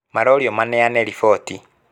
Maroririo maneane riboti